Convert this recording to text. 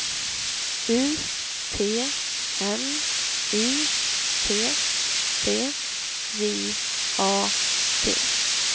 U T N Y T T J A T